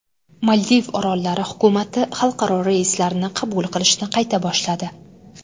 Maldiv orollari hukumati xalqaro reyslarni qabul qilishni qayta boshladi.